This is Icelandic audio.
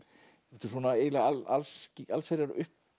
þetta er eiginlega allsherjar